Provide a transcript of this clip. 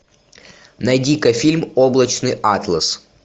найди ка фильм облачный атлас